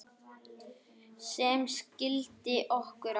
sem skildi okkur að